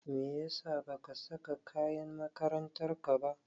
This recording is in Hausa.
Meyasa ba ka saka kayan makarantar ka ba?